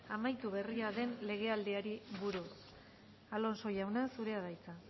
amaitu berri den legealdiari buruz alonso jauna zurea da hitza